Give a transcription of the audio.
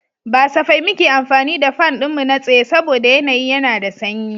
Ba safai muke amfani da fan ɗinmu na tsaye saboda yanayi yana da sanyi.